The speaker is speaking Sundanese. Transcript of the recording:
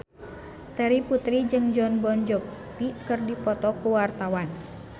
Terry Putri jeung Jon Bon Jovi keur dipoto ku wartawan